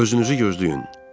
Özünüzü gözləyin!